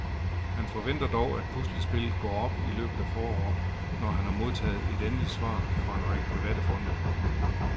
Han forventer dog, at puslespillet går op i løbet af foråret, når han har modtaget endeligt svar fra en række private fonde.